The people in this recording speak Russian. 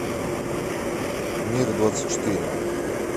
мир двадцать четыре